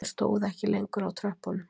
Hann stóð ekki lengur á tröppunum